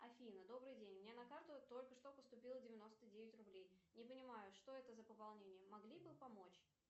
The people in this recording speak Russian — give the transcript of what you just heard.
афина добрый день мне на карту только что поступило девяносто девять рублей не понимаю что это за пополнение могли бы помочь